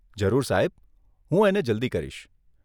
જરૂર સાહેબ, હું એને જલ્દી કરીશ.